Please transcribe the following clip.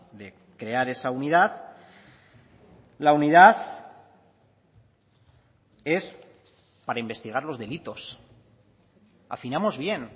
de crear esa unidad la unidad es para investigar los delitos afinamos bien